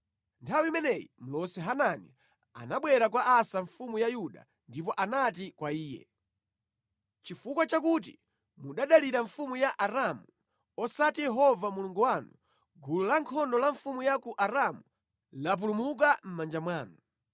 Nthawi imeneyi mlosi Hanani anabwera kwa Asa mfumu ya Yuda ndipo anati kwa iye, “Chifukwa chakuti munadalira mfumu ya Aramu osati Yehova Mulungu wanu, gulu la ankhondo la mfumu ya ku Aramu lapulumuka mʼmanja mwanu.